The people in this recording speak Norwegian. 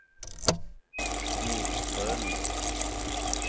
Nordstrøno